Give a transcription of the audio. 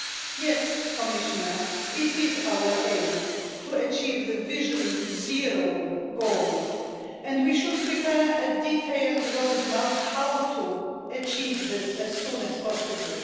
Yes, Commissioner, it is our aim to achieve the vision zero goal and we should prepare a detailed roadmap of how to achieve this as soon as possible.